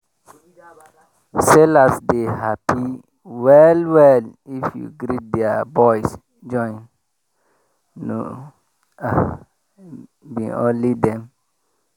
sellers dey happy well well if you greet their boys join no be only them